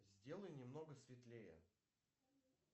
сделай немного светлее